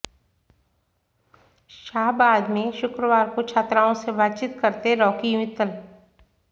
शाहाबाद में शुक्रवार को छात्राओं से बातचीत करते रॉकी मित्तल